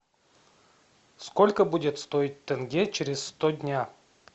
сколько будет стоить тенге через сто дня